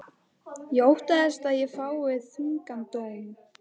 Ég óttast að ég fái þungan dóm.